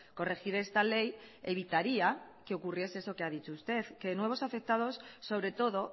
corregir esta ley evitaría que ocurriese eso que ha dicho usted que nuevos afectados sobre todo